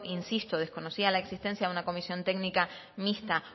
insisto desconocía la existencia de una comisión técnica mixta